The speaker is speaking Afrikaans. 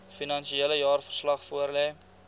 finansiële jaarverslag voorlê